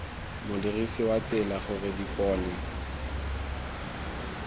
modirisi wa tsela gore dipone